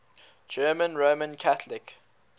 german roman catholic